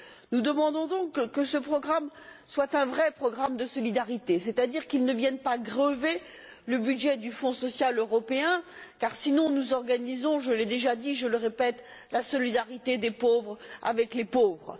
Nous demandons donc que ce programme soit un vrai programme de solidarité, c'est à dire qu'il ne vienne pas grever le budget du fonds social européen. Sinon, nous organiserions, je l'ai déjà dit, je le répète, la solidarité des pauvres avec les pauvres.